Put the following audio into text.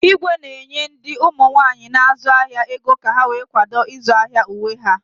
Igwe na-enye ndị ụmụ nwaanyi na-azu ahia ego ka ha wee kwado izu ahịa uwe ha.